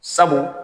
Sabu